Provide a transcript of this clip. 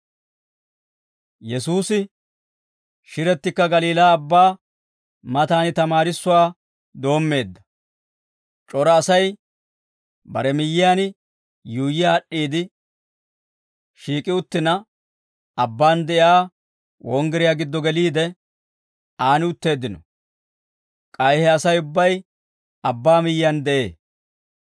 Yesuusi shirettikka Galiilaa Abbaa mataan tamaarissuwaa doommeedda; c'ora Asay bare miyyiyaan yuuyyi aad'd'iide shiik'i uttina, abbaan de'iyaa wonggiriyaa giddo geliide, aan utteeddino; k'ay he Asay ubbay abbaa miyyiyaan de'ee.